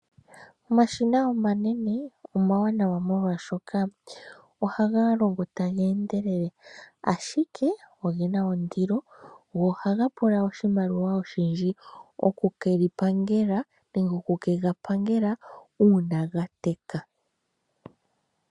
Omashina omanene omawanawa molwaashoka, ohaga longo ta ge endelelele, ashike ogena ondilo noha ga pula oshimaliwa oshindji oku keli pangela nenge oku kega pangela uuna ga teka.